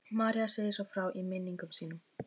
María segir svo frá í minningum sínum: